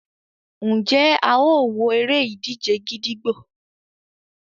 Njé a o wọ èrè-ìdíje gídígbò?